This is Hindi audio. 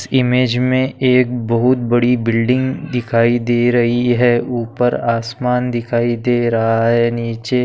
इस इमेज में एक बहुत बड़ी बिल्डिंग दिखाई दे रही है ऊपर आसमान दिखाई दे रहा है। नीचे --